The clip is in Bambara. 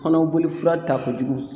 Kɔnɔboli fura ta kojugu